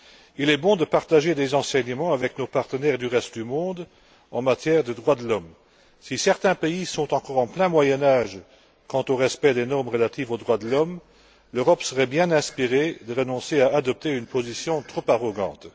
Il est bon de partager des enseignements avec nos partenaires du reste du monde en matière de droits de l'homme. Si certains pays sont encore en plein Moyen Âge quant au respect des normes relatives aux droits de l'homme, l'Europe serait bien inspirée de renoncer à adopter une position trop arrogante.